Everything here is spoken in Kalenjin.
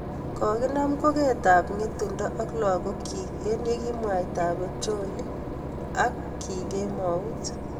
kokinam koket ab ngetundo ak lagoik chiik eng yekiek mwaitab ab petroli aki kemuut